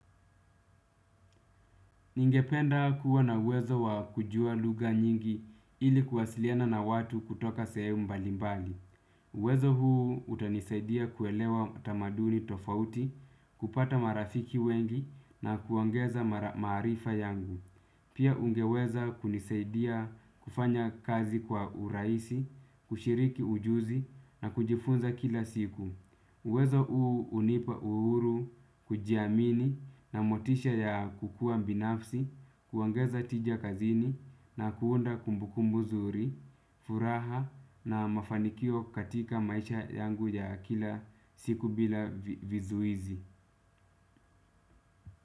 Ningependa kuwa na uwezo wa kujua lugha nyingi ili kuwasiliana na watu kutoka sehemu mbalimbali. Uwezo huu utanisaidia kuelewa tamaduni tofauti, kupata marafiki wengi na kuongeza maarifa yangu. Pia ungeweza kunisaidia kufanya kazi kwa urahisi, kushiriki ujuzi na kujifunza kila siku. Uwezo uu hunipa uhuru, kujiamini na motisha ya kukua binafsi, kuongeza tija kazini na kuunda kumbukumbu nzuri, furaha na mafanikio katika maisha yangu ya kila siku bila vizuizi.